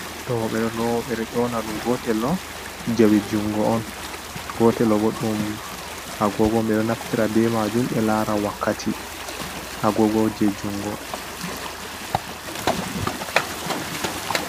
Do bedo loo be do ƴona dum gotello jawe jungo on gotel do bo dum agogo, be do naftira be majum be lara wakkati ha agogo je jungo.